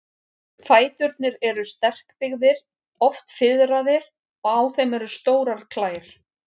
Fæturnir eru sterkbyggðir, oft fiðraðir, og á þeim eru stórar klær.